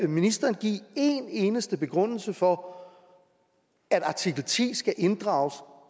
ministeren give en eneste begrundelse for at artikel ti skal inddrages